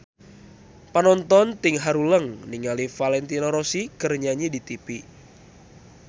Panonton ting haruleng ningali Valentino Rossi keur nyanyi di tipi